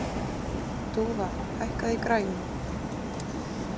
Dúfa, hækkaðu í græjunum.